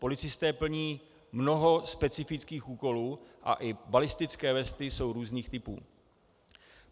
Policisté plní mnoho specifických úkolů a i balistické vesty jsou různých typů.